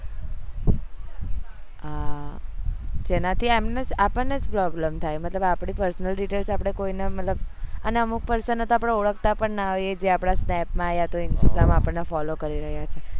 હા જેના થી અમને આપણે જ b problem થાય મતલબ આપડી personal details આપડે કોઈ ને મતલબ અને અમુક person ને તો આપડે ઓળખતા પણ હોય જે આપડા snap માં આતો instagram follows કરી રહ્યા હોય